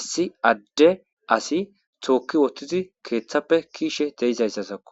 issi adde asi tookki wottidi keeththappe kiishe deizayssasakko